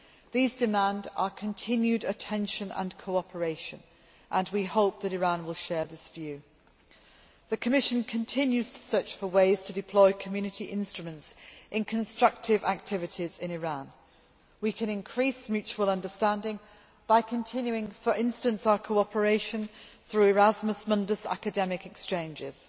These demand our continued attention and cooperation, and we hope that Iran will share this view. The Commission continues to search for ways to deploy Community instruments in constructive activities in Iran. We can increase mutual understanding by continuing, for instance, our cooperation through Erasmus Mundus academic exchanges.